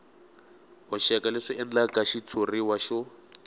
hoxeka leswi endlaka xitshuriwa xo